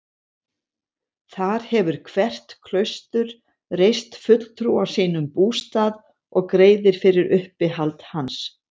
Þar hefur hvert klaustur reist fulltrúa sínum bústað og greiðir fyrir uppihald hans.